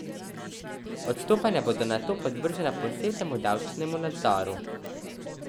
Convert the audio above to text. Odstopanja bodo nato podvržena posebnemu davčnemu nadzoru.